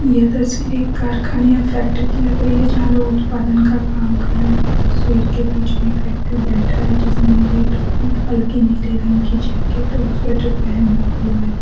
यह तस्वीर एक कारखाने या फैक्ट्री की लग रही है जहां लोग उत्पादन का काम कर रहे हैं तस्वीर के बीच में एक व्यक्ति बैठा है जिसमें नीली टोपी हल्की नीले रंग की जैकेट और स्वेटर पहेना हुआ है।